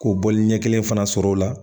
K'o bɔli ɲɛ kelen fana sɔrɔ o la